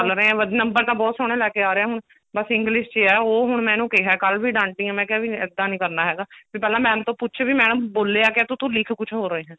ਚੱਲ ਰਹੇ ਪਰ ਨੰਬਰ ਤਾਂ ਬਹੁਤ ਸੋਹਣੇ ਲੈਕੇ ਆ ਰਿਹਾ ਹੁਣ ਬੱਸ english ਚ ਹੀ ਹੈ ਉਹ ਹੁਣ ਮੈਂ ਇਹਨੂੰ ਕਿਹਾ ਕੱਲ ਵੀ ਡਾਂਟੀ ਆਂ ਮੈਂ ਕਿਹਾ ਵੀ ਇੱਦਾਂ ਨੀ ਕਰਨਾ ਹੈਗਾ ਵੀ ਪਹਿਲਾ ma'am ਤੋਂ ਪੁੱਛ ਵੀ madam ਬੋਲਿਆ ਕਿਆ ਤੇ ਤੂੰ ਲਿਖ ਕੁੱਝ ਹੋਰ ਰਿਹਾ